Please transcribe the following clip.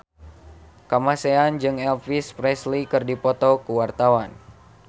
Kamasean jeung Elvis Presley keur dipoto ku wartawan